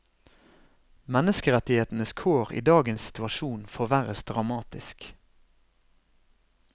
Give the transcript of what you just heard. Menneskerettighetenes kår i dagens situasjon forverres dramatisk.